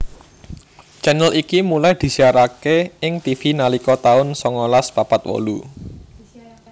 channel iki mulai disiaraké ing Tivi nalika tahun songolas papat wolu